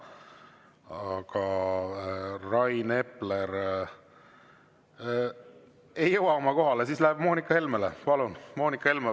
Aga et Rain Epler ei jõua oma kohale, siis läheb Moonika Helmele.